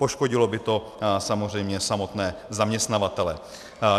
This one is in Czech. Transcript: Poškodilo by to samozřejmě samotné zaměstnavatele.